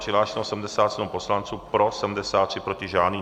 Přihlášeno 77 poslanců, pro 73, proti žádný.